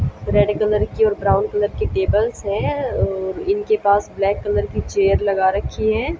Red colour की और brown colour tables हैं और इन के पास ब्लैक कलर की चेयर लगा रखी हैं।